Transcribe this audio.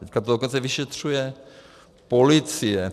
Teď to dokonce vyšetřuje policie.